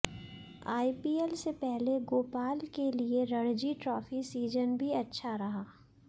IPL से पहले गोपाल के लिए रणजी ट्रॉफी सीजन भी अच्छा रहा